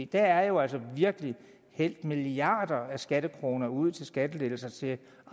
der er jo altså virkelig hældt milliarder af skattekroner ud til skattelettelser til